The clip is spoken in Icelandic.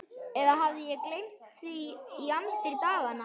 Eða hafði gleymt því í amstri daganna.